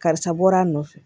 Karisa bɔra a nɔfɛ